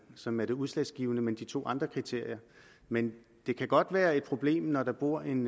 som er det udslagsgivende men de to andre kriterier men det kan godt være et problem når der bor en